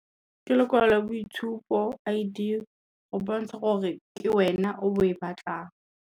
Ke lekwalo la boitshupo I_D, go bontsha gore ke wena o bo o e batlang.